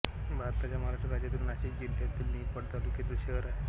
भारताच्या महाराष्ट्र राज्यातील नाशिक जिल्ह्यातील निफाड तालुक्याचे शहर आहे